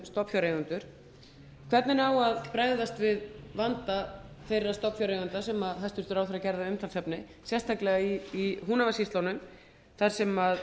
hvernig á að bregðast við vanda þeirra stofnfjáreigenda sem hæstvirtur ráðherra gerði að umtalsefni sérstaklega í húnavatnssýslunum þar sem